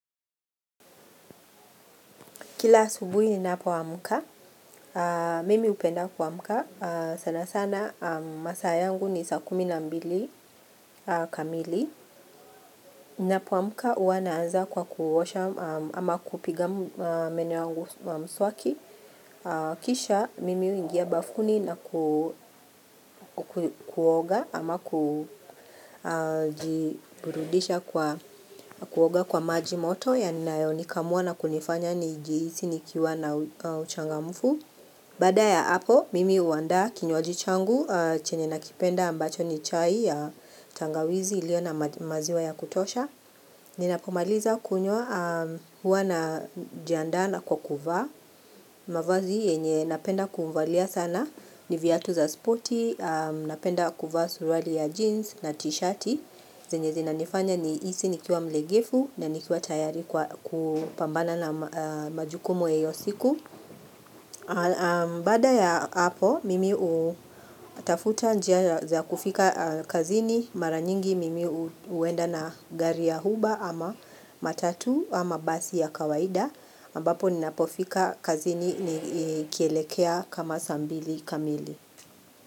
Kila asubuhi ninapoamka. Mimi hupenda kuamka. Sana sana masaa yangu ni saa kumi na mbili kamili. Ninapoamka huwa naanza kwa kuosha ama kupiga meno yangu wa mswaki. Kisha mimi huingia bafuni na kuoga ama kujiburudisha kwa kuoga kwa maji moto. Ya ninaionika muwana kunifanya nijihisi nikiwa na uchangamfu. Baada ya hapo, mimi huandaa kinywaji changu chenye nakipenda ambacho ni chai ya tangawizi iliyo na maziwa ya kutosha. Ninapomaliza kunywa, huwa najiandaa na kwa kuva. Mavazi yenye napenda kumvalia sana ni viatu za sporti, napenda kuvaa suruali ya jeans na tishati. Zenye zinanifanya nihisi nikiwa mlegevu na nikiwa tayari kwa kupambana na majukumu ya hiyo siku. Baada ya hapo, mimi hutafuta njia za kufika kazini. Mara nyingi mimi huenda na gari ya huba ama matatu ama basi ya kawaida. Ambapo ninapofika kazini ni ikielekea kama saa mbili kamili.